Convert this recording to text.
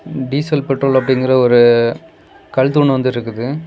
Diesel petrol அப்டிங்குற ஒரு கல் தூண் வந்து இருக்குது.